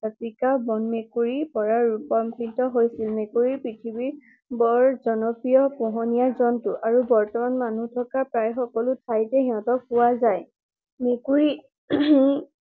বনমেকুৰীৰ পৰা ৰূপান্তৰিত হৈছিল। মেকুৰীৰ পৃথিৱীত বৰ জনপ্ৰিয় পোহনীয়া জন্তু আৰু বৰ্তমান মানুহ থকা প্ৰায় সকলো ঠাইতে সিহতক পোৱা যায়। মেকুৰী